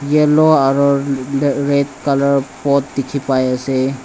yellow aro ra red colour pot dikhipaiase.